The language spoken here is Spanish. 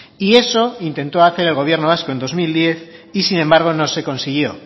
y eso intentó hacer el gobierno vasco en dos mil diez y sin embargo no se consiguió